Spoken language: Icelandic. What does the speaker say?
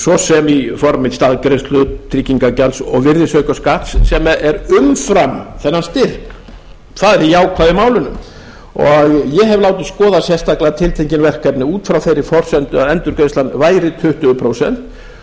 svo sem í formi staðgreiðslu tryggingagjalds og virðisaukaskatts sem er umfram þennan styrk það er það jákvæða í málinu ég hef látið skoða sérstaklega tiltekin verkefni út frá þeirri forsendu að endurgreiðslan væri tuttugu prósent